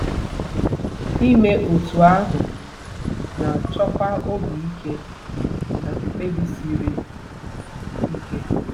Ime otú ahụ na-achọkwa obi ike na mkpebi siri ike.